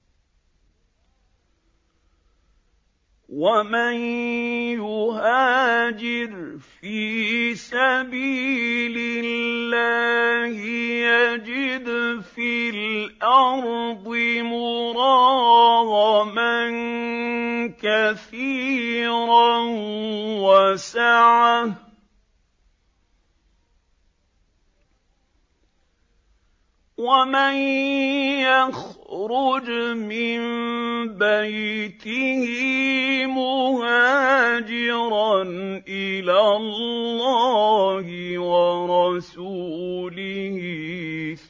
۞ وَمَن يُهَاجِرْ فِي سَبِيلِ اللَّهِ يَجِدْ فِي الْأَرْضِ مُرَاغَمًا كَثِيرًا وَسَعَةً ۚ وَمَن يَخْرُجْ مِن بَيْتِهِ مُهَاجِرًا إِلَى اللَّهِ وَرَسُولِهِ